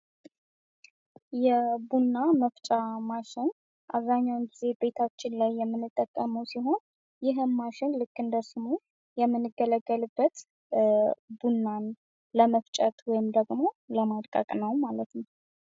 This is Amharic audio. የቡና መፍጫ ማሽን አብዛኛውን ጊዜ ቤታችን ላይ የምንጠቀመው ሲሆን ይህም ማሽን ልክ እንደ ስሙ የምንገለገልበት ቡናን ለመፍጨት ወይም ደግሞ ለማድቀቅ ነው ማለት ነው።